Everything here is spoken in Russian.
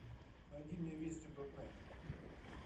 найди мне вести дот нет